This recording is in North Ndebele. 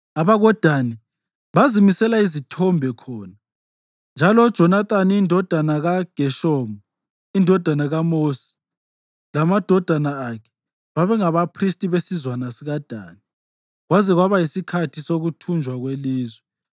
AbakoDani bazimisela izithombe khona, njalo uJonathani indodana kaGeshomu, indodana kaMosi, lamadodana akhe babengabaphristi besizwana sikaDani kwaze kwaba yisikhathi sokuthunjwa kwelizwe.